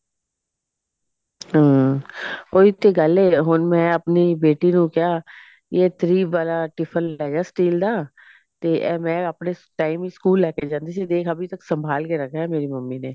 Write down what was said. ਹਮ ਉਹੀ ਤੇ ਗੱਲ ਐ ਹੁਣ ਮੈਂ ਆਪਣੀ ਬੇਟੀ ਨੂੰ ਕਿਹਾ ਵੀ ਇਹ three ਵਾਲਾ tiffin ਲੈ ਜਾ steal ਦਾ ਤੇ ਮੈਂ ਇਹ ਆਪਣੇ time ਵਿੱਚ ਸਕੂਲ ਲੈ ਕੇ ਜਾਂਦੀ ਸੀ ਦੇਖ ਅਭੀ ਤੱਕ ਸੰਮਭਾਲ ਕੇ ਰੱਖਾ ਹੈ ਮੇਰੀ ਮੰਮੀ ਨੇ